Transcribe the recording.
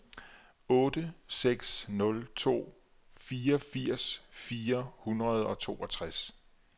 otte seks nul to fireogfirs fire hundrede og toogtres